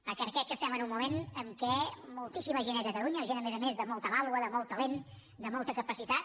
perquè crec que estem en un moment en què moltíssima gent a catalunya gent a més a més de molta vàlua de molt talent de molta capacitat